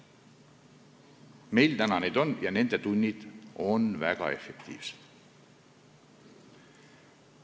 Meil neid on ja nende tunnid on väga efektiivsed.